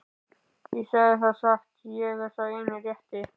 Ég segi það satt, ég er sá eini rétti.